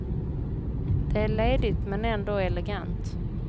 Det är ledigt men ändå elegant.